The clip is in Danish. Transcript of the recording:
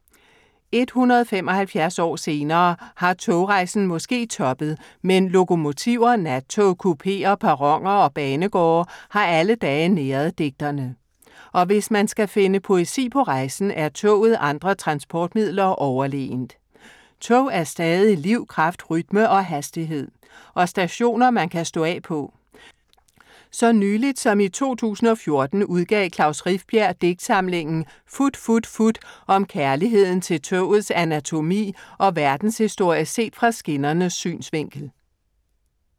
175 år senere har togrejsen måske toppet, men lokomotiver, nattog, kupeer, perroner og banegårde har alle dage næret digterne. Og hvis man skal finde poesi på rejsen, er toget andre transportmidler overlegent. Toget er stadig liv, kraft, rytme og hastighed. Og stationer man kan stå af på. Så nyligt som i 2014 udgav Klaus Rifbjerg digtsamlingen Fut fut fut om kærligheden til togets anatomi og verdenshistorie set fra skinnernes synsvinkel.